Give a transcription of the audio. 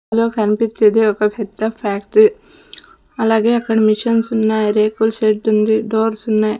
లో కన్పిచ్చేది ఒక పెద్ద ఫ్యాక్ట్రీ అలాగే అక్కడ మిషన్సున్నాయ్ రేకుల షెడ్డుంది ఉంది డోర్సున్నాయ్ .